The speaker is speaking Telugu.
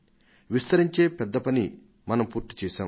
విస్తరించే పెద్ద పని మనం పూర్తిచేశాం